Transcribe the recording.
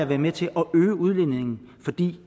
været med til at øge udledningen fordi